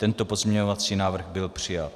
Tento pozměňovací návrh byl přijat.